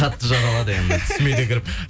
қатты жаралады енді түсіме де кіріп